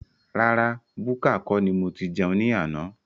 Rárá búkà kọ́ ni mo tí jẹun ní àna